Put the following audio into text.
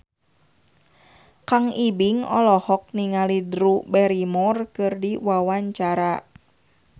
Kang Ibing olohok ningali Drew Barrymore keur diwawancara